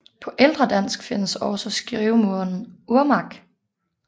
På ældre dansk findes også skrivemåden Urmark